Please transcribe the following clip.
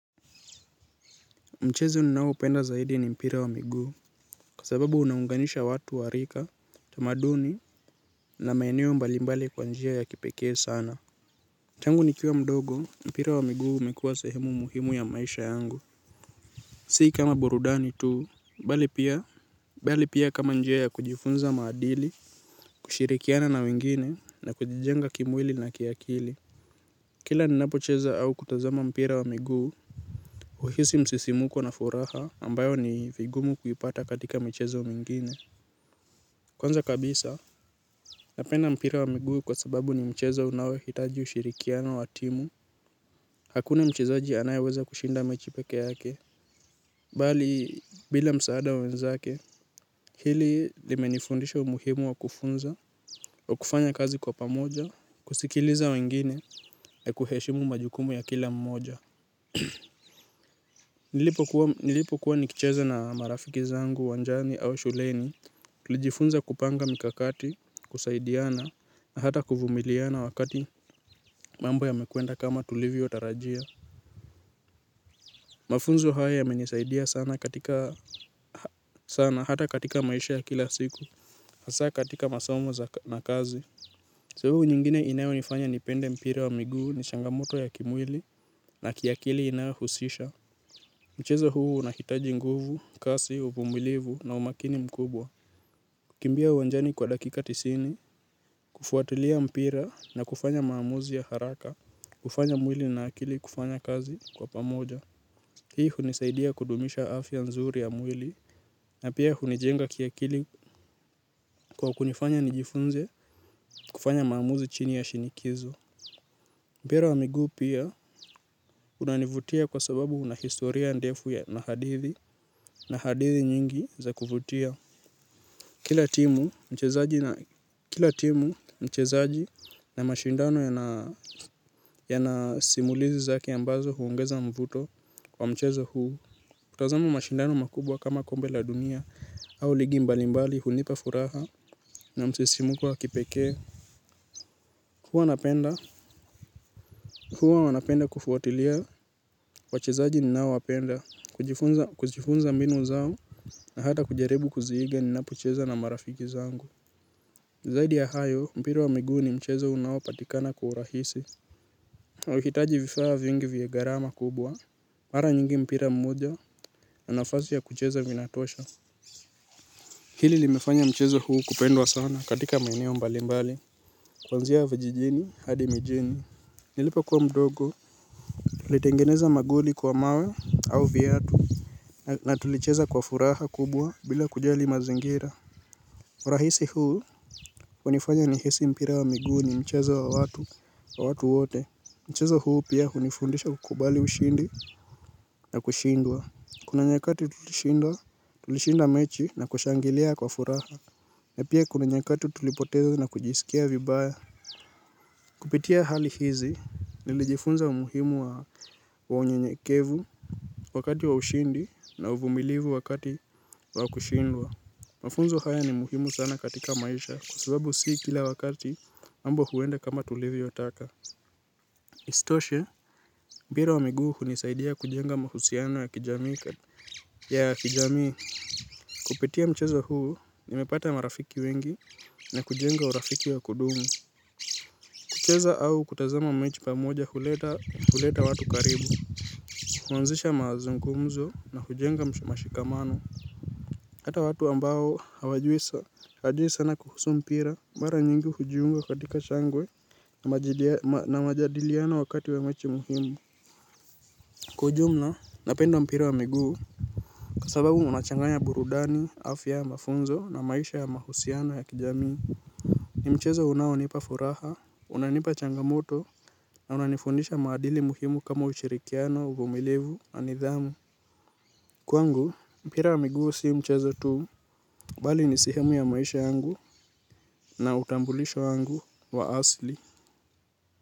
Mchezo ninao upenda zaidi ni mpira wa miguu. Kwa sababu unaunganisha watu warika, tamaduni, na maeneo mbalimbali kwa njia ya kipekee sana tangu nikiwa mdogo, mpira wa miguu umekuwa sehemu muhimu ya maisha yangu. Sii kama burudani tuu, bali pia, bali pia kama njia ya kujifunza maadili, kushirikiana na wengine, na kujijenga kimwili na kiakili. Kila ninapo cheza au kutazama mpira wa miguu uhisi msisimuko na furaha ambayo ni vigumu kuipata katika mchezo mingine. Kwanza kabisa, napenda mpira wa miguu kwa sababu ni mchezo unaohitaji ushirikiana watimu. Hakuna mchezaji anaye weza kushinda mechipeke yake. Bali, bila msaada wa wenzake, hili limenifundisha umuhimu wa kufunza, wa kufanya kazi kwa pamoja, kusikiliza wengine, na kuheshimu majukumu ya kila mmoja. Nilipo kuwa nikicheze na marafiki zangu wanjani au shuleni tulijifunza kupanga mikakati kusaidiana na hata kuvumiliana wakati mambo ya mekuenda kama tulivi otarajia. Mafunzo haya ya menisaidia sana katika sana hata katika maisha ya kila siku asa katika masomo na kazi sababu nyingine inayo nifanya ni pende mpira wa miguu ni changamoto ya kimwili na kiakili inayohusisha mchezo huu unahitaji nguvu, kasi, uvumilivu na umakini mkubwa. Kimbia uwanjani kwa dakika tisini, kufuatilia mpira na kufanya maamuzi ya haraka, kufanya mwili na akili kufanya kazi kwa pamoja. Hii hunisaidia kudumisha afya nzuri ya mwili, na pia hunijenga kia kili kwa kunifanya nijifunze kufanya maamuzi chini ya shinikizo. Mpira wa miguu pia unanivutia kwa sababu una historia ndefu ya nahadithi, nahadithi nyingi za kufutia. Kila timu mchezaji na mashindano ya nasimulizi zake ambazo huungeza mvuto kwa mchezohuu. Kutazama mashindano makubwa kama kombe la dunia au ligi mbali mbali hunipa furaha na msisimu ko wa kipekee. Huwa wanapenda kufuatilia, wachezaji ninao wapenda, kujifunza mbinu zao na hata kujaribu kuziiga ninapocheza na marafiki zangu. Zaidi ya hayo, mpira wa miguu ni mchezo unao patikana kwa urahisi. Ukihitaji vifaa vingi vie garama kubwa mara nyingi mpira mmoja na nafasi ya kucheza vinatosha. Hili limefanya mchezo huu kupendwa sana katika maineo mbali mbali. Kwa nzia vajijini, hadi mijini nilipa kuwa mdogo. Tulitengeneza magoli kwa mawe au viatu. Na tulicheza kwa furaha kubwa bila kujali mazingira. Urahisi huu, unifanya ni hisi mpira wa miguu ni mchezo wa watu wa watu wote, mchezo huu pia hunifundisha kukubali ushindi na kushindwa. Kuna nyakati tulishinda mechi na kushangilia kwa furaha. Na pia kuna nyakati tulipotezo na kujisikia vibaya. Kupitia hali hizi, nilijifunza umuhimu wa unye nyekevu wakati wa ushindi na uvumilivu wakati wa kushindwa. Mafunzo haya ni muhimu sana katika maisha kwasababu sii kila wakati ambo huenda kama tulivyotaka. Isitoshe, mpira wa miguu nisaidia kujenga mahusiano ya kijamii ya kijamii. Kupitia mcheza huu, nimepata marafiki wengi na kujenga urafiki wa kudumu. Kucheza au kutazama mechi pa moja huleta watu karibu. Huanzisha mazungumzo na hujenga mashikamano. Hata watu ambao hawajui sa na kuhusu mpira mara nyingi hujiunga katika shangwe na majadiliano wakati wa mechi muhimu. Kujumla, napendo mpira wa miguu. Kwasababu unachanganya burudani, afya ya mafunzo na maisha ya mahusiano ya kijamii. Ni mchezo unaonipa furaha, unanipa changamoto na unanifundisha maadili muhimu kama ushirikiano, uvumilivu na nidhamu. Kwangu, mpira wa miguu siu mchezo tuu. Bali ni sehemu ya maisha yangu. Na utambulisho wangu wa asli.